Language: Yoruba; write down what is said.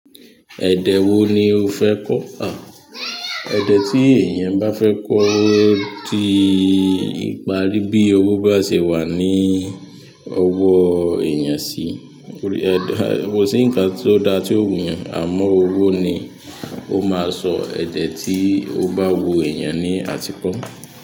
Ẹ̀dẹ̀ wo ni ó fẹ́ kọ́? À, ẹ̀dẹ̀ tí èèyàn bá fẹ́ kọ́ ó di ìparí bí owó bá ṣe wà ní ọwọ́ èèyàn sí. Ehn, kò sí nǹkan tó da tó ó wù èèyàn àmọ́ owó ni o má sọ èdè tí o bá wù èèyàn ni àti ko.